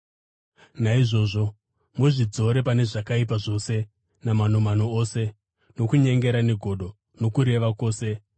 Naizvozvo, muzvidzore pane zvakaipa zvose namanomano ose, nokunyengera, negodo, nokureva kwose.